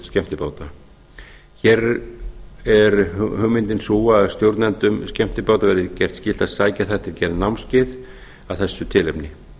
skemmtibáta hér er hugmyndin sú að stjórnendum skemmtibáta verði gert skylt að sækja þar til gerð námskeið að þessu tilefni